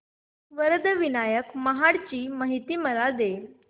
वरद विनायक महड ची मला माहिती दे